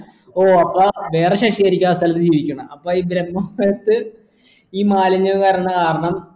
ഓ അപ്പാ വേറെ ശശിയായിരിക്കും ആ സ്ഥലത്തു ജീവിക്കണേ അപ്പൊ ഈ ബ്രഹ്മപുരത്ത് ഈ മാലിന്യം വരണ കാരണം